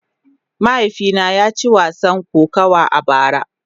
Mahaifina ya ci wasan kokawa a bara.